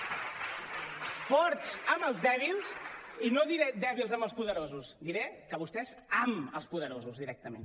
forts amb els dèbils i no diré dèbils amb els poderosos diré que vostès amb els poderosos directament